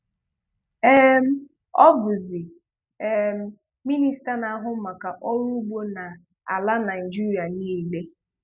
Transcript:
um Ọ bụ̀zì um Minista na-ahụ̀ maka Ọrụ́ Ugbo n’àlà Nàịjíríà niile